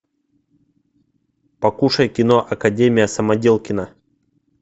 покушай кино академия самоделкина